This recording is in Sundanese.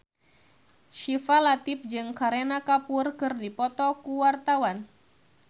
Syifa Latief jeung Kareena Kapoor keur dipoto ku wartawan